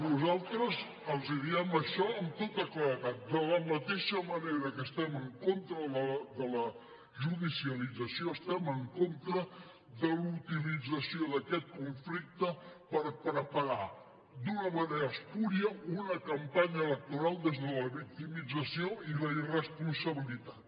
nosaltres els diem això amb tota claredat de la mateixa manera que estem en contra de la judicialització estem en contra de la utilització d’aquest conflicte per preparar d’una manera espúria una campanya electoral des de la victimització i la irresponsabilitat